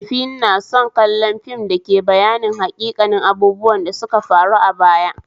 Maifina na son kallon fim dake bayanin haƙiƙanin abubuwan da suka faru a baya